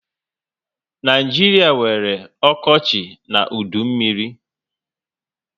Naijiria nwere okochi na udu mmírí